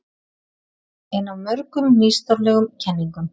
Ein af mörgum nýstárlegum kenningum